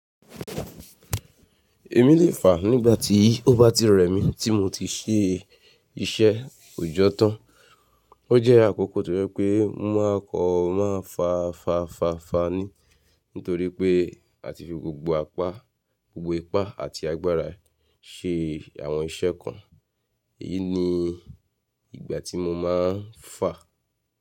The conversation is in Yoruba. Èmi lè fà nígbà tí ó bá ti rẹ̀ mí tí mo ti ṣe iṣẹ́ òòjọ́ tán. O jẹ́ àkókò tó rẹ pé mo máa kọ̀ máa fà fà fà fà ni nítorí pé a ti fi gbogbo apá, gbogbo ipá àti agbára ṣe àwọn iṣẹ́ kan. Èyí ni ìgbà tí mo máa ń fà.